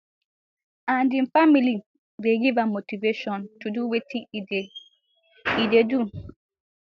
and im family dey give am motivation to do wetin e dey e dey do